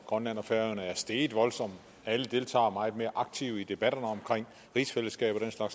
grønland og færøerne er steget voldsomt alle deltager meget mere aktivt i debatterne om rigsfællesskabet og